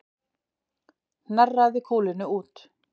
Hnerraði kúlunni út